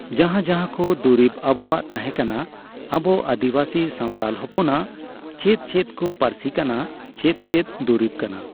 ᱡᱟᱦᱟᱸ ᱡᱟᱦᱟᱸ ᱠᱚ ᱫᱩᱨᱤᱵ ᱟᱵᱚᱣᱟᱜ ᱛᱟᱦᱮᱸ ᱠᱟᱱᱟ ᱟᱵᱚ ᱟᱫᱤᱵᱟᱥᱤ ᱥᱟᱣᱛᱟᱞ ᱦᱚᱯᱚᱱᱟᱜ ᱪᱮᱫ ᱪᱮᱫ ᱠᱚ ᱯᱟᱨᱥᱤ ᱠᱟᱱᱟ ᱪᱮᱫ ᱪᱮᱫ ᱫᱩᱨᱤᱵ ᱠᱟᱱᱟ